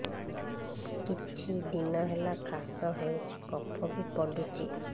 କିଛି ଦିନହେଲା କାଶ ହେଉଛି କଫ ବି ପଡୁଛି